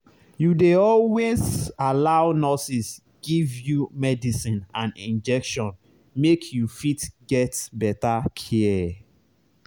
you dey always allow nurses give you medicine and injection make you fit get better care.